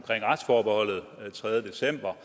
retsforbeholdet den tredje december